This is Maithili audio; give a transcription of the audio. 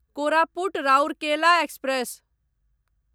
कोरापुट राउरकेला एक्सप्रेस